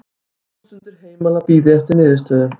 Þúsundir heimila bíði eftir niðurstöðu